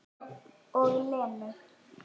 Og Lenu.